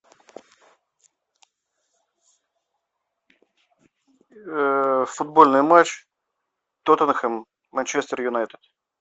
футбольный матч тоттенхэм манчестер юнайтед